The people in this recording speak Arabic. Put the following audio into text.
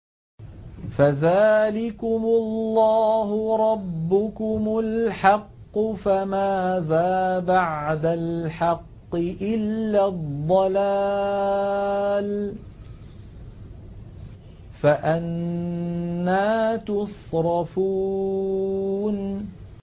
فَذَٰلِكُمُ اللَّهُ رَبُّكُمُ الْحَقُّ ۖ فَمَاذَا بَعْدَ الْحَقِّ إِلَّا الضَّلَالُ ۖ فَأَنَّىٰ تُصْرَفُونَ